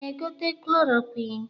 Ị na-egote klorokwịn?